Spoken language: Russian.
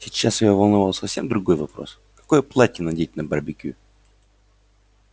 сейчас её волновал совсем другой вопрос какое платье надеть на барбекю